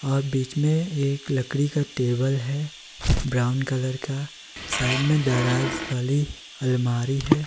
और बीच में एक लकड़ी का टेबल है ब्राउन कलर का साइड में दराज वाली अलमारी है।